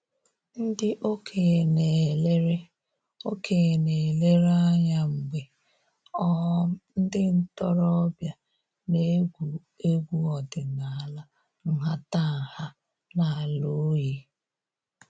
Ndị okenye na-elere okenye na-elere anya mgbe um ndị ntoroọbịa na-egwu egwu ọdịnaala nhatanha n'ala oyi